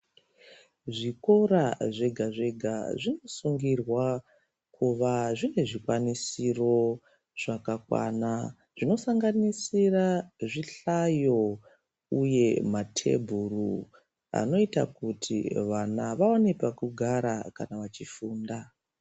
Zvikora zvega zvega zvinosungirwa kuva zvine zvikwanisiro zvakakwana zvinosanganisira zvihlayo uye matebhuru anoita kuti vana vaone pekugara kana vachifunda.